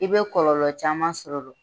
I bɛ kɔlɔlɔ caman sɔrɔ